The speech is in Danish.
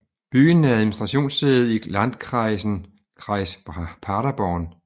Byen er administrationssæde i landkreisen Kreis Paderborn